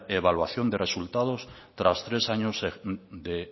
evaluación de resultados tras tres años de